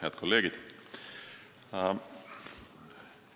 Head kolleegid!